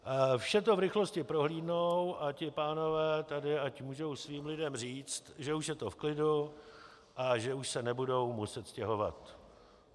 Vše to v rychlosti prohlídnou a ti pánové tady ať můžou svým lidem říct, že už je to v klidu a že už se nebudou muset stěhovat.